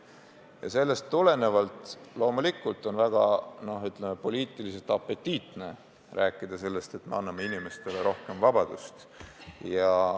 Ja sellest tulenevalt on loomulikult väga, ütleme, poliitiliselt apetiitne rääkida, et me anname inimestele rohkem vabadust.